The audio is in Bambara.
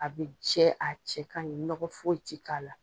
A be jɛ, a cɛ kaɲi nɔgɔ foyi ti k'a la.